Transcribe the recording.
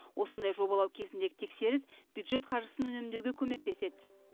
осындай жобалау кезіндегі тексеріс бюджет қаржысын үнемдеуге көмектеседі